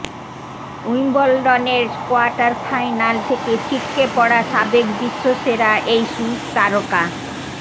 উইম্বলডনের quarter final থেকে ছিটকে পড়া সাবেক বিশ্ব সেরা এই সুইস তারকা